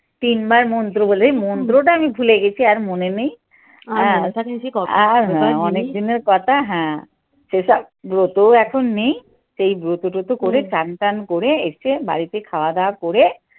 তিনবার মন্ত্র বলে মন্ত্রটা আমি ভুলে গেছি আর মনে নেই। আর হ্যাঁ অনেক দিনের কথা হ্যাঁ সে সব ব্রত এখন নেই সেই ব্রত টোতো করে চান টান করে এসে বাড়িতে খাওয়া দাওয়া করে